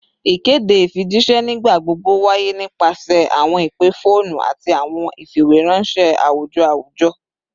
Ikede ifijiṣẹ nigbagbogbo waye nipasẹ awọn ipe foonu ati awọn ifiweranṣẹ awujọ awujọ